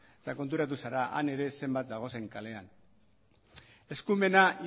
eta konturatu zara han ere zenbat dagozen kalean eskumena